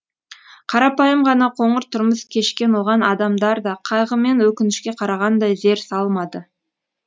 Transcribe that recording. қарапайым ғана қоңыр тұрмыс кешкен оған адамдар да қайғы мен өкінішке қарағандай зер салмады